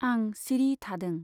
आं सिरि थादों।